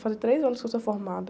Fazem três anos que eu sou formada.